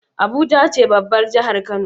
Abuja ce babbar jahar kano